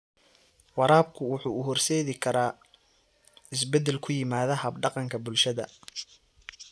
Waraabku wuxuu u horseedi karaa isbeddel ku yimaada hab-dhaqanka bulshada.